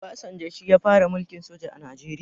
Obasanjo shi ya fara mulkin soja a najeriya